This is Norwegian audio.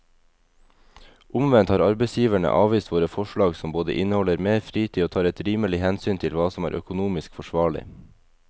Omvendt har arbeidsgiverne avvist våre forslag som både inneholder mer fritid og tar et rimelig hensyn til hva som er økonomisk forsvarlig.